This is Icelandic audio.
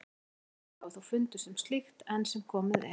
Engin merki hafa þó fundist um slíkt enn sem komið er.